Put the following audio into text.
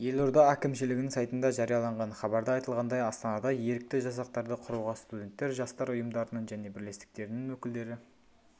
елорда әкімшілігінің сайтында жарияланған хабарда айтылғандай астанада ерікті жасақтарды құруға студенттер жастар ұйымдарының және бірлестіктерінің өкілдері